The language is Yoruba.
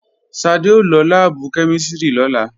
Ṣadé ó lọ láàbù kẹ́mísìrì lọ́la